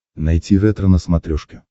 найти ретро на смотрешке